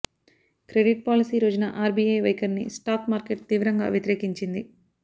credit policy రోజున RBI వైఖరిని stock market తీవ్రంగా వ్యతిరేకించింది